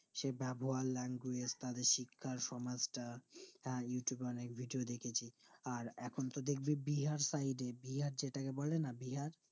সে ব্যবহার language তাদের শিক্ষার সমাজটা তার দেখেছি আর এখনতো দেখবি বিহার side এ বিহার যেটাকে বলে না বিহার